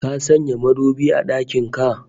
Ka sanya madubi a dakin ka?